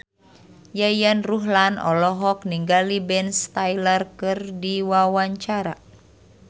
Yayan Ruhlan olohok ningali Ben Stiller keur diwawancara